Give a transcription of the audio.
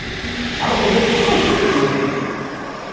Uhum. Ah no começo nós fazíamos de tudo.